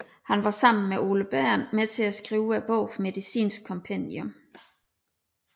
Han var sammen med Ole Bernth med til at skrive bogen Medicinsk Kompendium